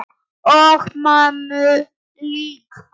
Og mömmu líka.